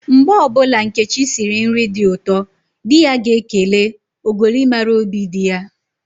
Mgbe ọbụla Nkechi siri nri dị ụtọ, di ya ga-ekele, "ogoli mara óbì di ya"